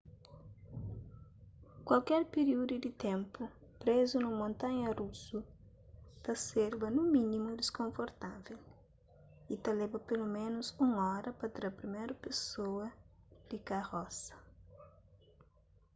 kualker piríudu di ténpu prézu nun montanha rusu ta serba nu mínimu diskonfortável y ta leba peloménus un óra pa tra priméru pesoa di karosa